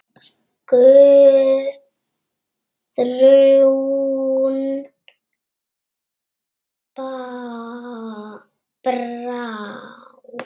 Guðrún Brá.